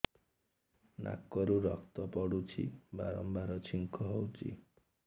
ନାକରୁ ରକ୍ତ ପଡୁଛି ବାରମ୍ବାର ଛିଙ୍କ ହଉଚି